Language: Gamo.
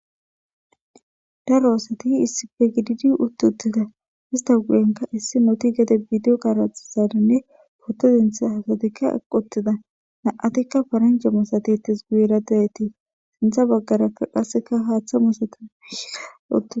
daro asati issife gididi utti uttida hista guyenka issi noti gede bidiyo karaxizaninne potodintha hasatikka aqotida naatikka faranjemosatitis guuyeradedytii sintha baggarakka qasseka haaththa musatiika uttida